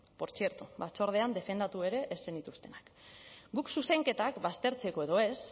portzierto batzordean defendatu ere ez zenituztenak guk zuzenketak baztertzeko edo ez